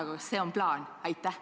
Aga kas see on plaan?